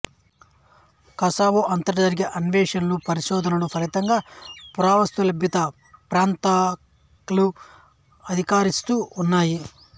Kosovo అంతటా జరిగే అన్వేషణలు పరిశోధనల ఫలితంగా పురావస్తు లభ్యత కలిగిన ప్రాంతాలు అధికరిస్తూ ఉన్నాయి